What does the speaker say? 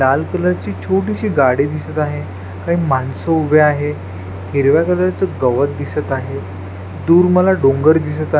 लाल कलर ची छोटीशी गाडी दिसत आहे काही माणसं उभे आहे हिरव्या कलर च गवत दिसत आहे दूर मला डोंगर दिसत आहे.